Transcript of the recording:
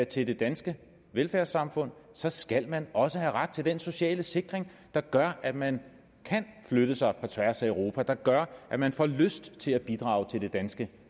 til det danske velfærdssamfund så skal man også have ret til den sociale sikring der gør at man kan flytte sig på tværs af europa der gør at man får lyst til at bidrage til det danske